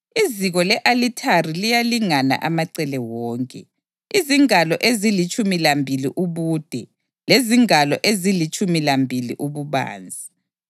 Iziko le-alithari liyalingana amacele wonke, izingalo ezilitshumi lambili ubude lezingalo ezilitshumi lambili ububanzi.